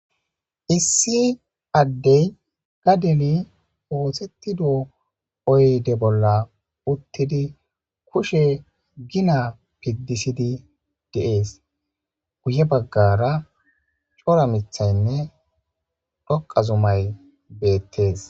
Issi addey ga deli oosettido oyde bolla uttidi kushe gina piddisidi deees guye baggara cora mithaynne dhoqa zumay beettees